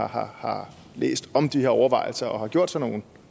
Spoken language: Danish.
har har læst om de her overvejelser og selv gjort sig nogle